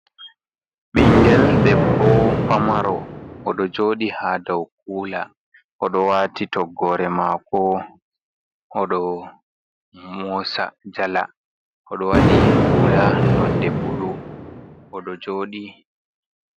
Ɓingel debbo pamaro oɗo joɗi ha daw kula oɗo wati toggore mako oɗo mosa jala, oɗo waɗi hula nonde bulu oɗo joɗi.